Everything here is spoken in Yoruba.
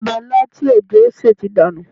Ọbẹ̀ ilá tí òjó sè ti dànù